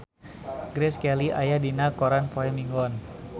Grace Kelly aya dina koran poe Minggon